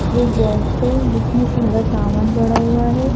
ये एक बॉक्स है जिसमें सारा सामान पड़ा हुआ है।